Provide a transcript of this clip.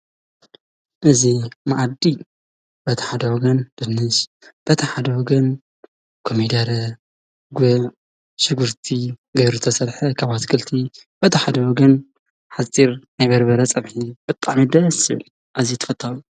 እዚ ማኣዲ በቲ ሓደ ወገን ድንሽ ኮሜዴሬ ጉዕ ሽጉርቲ ዝተሰረሓ ካብ ኣትክልቲ በቲ ሓደ ወገን ሓፂር ናይ በርበረ ፀብሒ ኣዚዩ ተፈታዊ።